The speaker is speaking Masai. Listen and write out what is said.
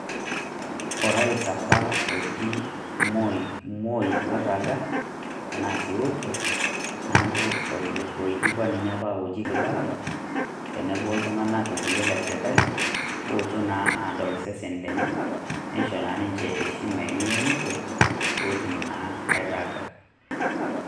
Orais apa oji Moi oirraga, tenaa si otua, neeku oloijikua ninye apa oji Kibaki, tenebo oltung'anak kulie lesirkali, otuo naa adol sesen lenye, nisho naa ninche heshima enye emusho, potum naa airraga.